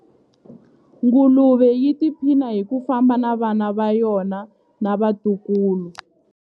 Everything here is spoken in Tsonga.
Nguluve yi tiphina hi ku famba na vana va yona na vatukulu.